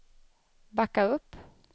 backa upp